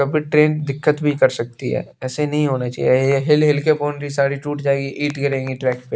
कभी ट्रेन दिक्कत भी कर सकती है ऐसे नहीं होना चाहिए यह हिल हिल के बोंड्री सारी टूट जाएगी ईट गिरेगी ट्रैक पे।